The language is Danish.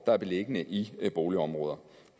er beliggende i boligområder